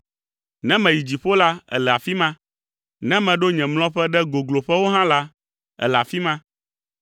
Ne meyi dziƒo la, èle afi ma, ne meɖo nye mlɔƒe ɖe gogloƒewo hã la, èle afi ma.